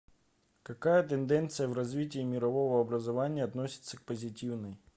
какая тенденция в развитии мирового образования относится к позитивной